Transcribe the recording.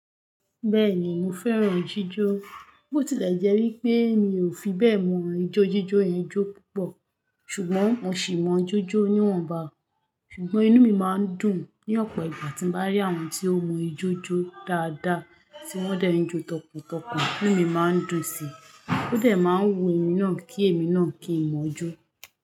Bẹ́ẹ̀ni mo fẹ́ràn jíjó, bó tilẹ̀ jẹ́ wí pé mi ò fi bẹ́ẹ̀ mọ ìjójíjó yẹn jó púpọ̀ ṣùgbọ́n mo sì mọ jójó níwọ̀nba. Ṣùgbọ́n inú mi máa ń dùn ní ọ̀pọ̀ ìgbà tí n bá rí àwọn tí ó mọ ìjójó dáadáa tí wọ́n dẹ̀ ń jó tọkàntọkàn, inú mi má ń dùn síi, ó dẹ̀ máa ń wu èmi náà kí èmi náà kí n mọ̀ọ́ jó.